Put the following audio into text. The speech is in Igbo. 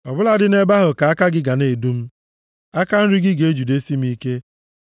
ọ bụladị nʼebe ahụ ka aka gị ga na-edu m aka nri gị ga-ejidesi m ike.